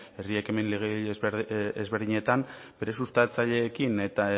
herri ekimen legegile ezberdinetan bere sustatzaileekin